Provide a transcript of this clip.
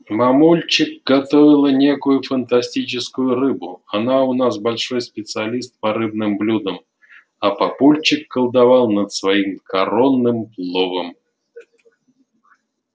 мамульчик готовила некую фантастическую рыбу она у нас большой специалист по рыбным блюдам а папульчик колдовал над своим коронным пловом